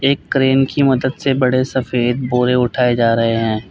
एक क्रेन की मदद से बड़े सफेद बोरे उठाए जा रहे हैं।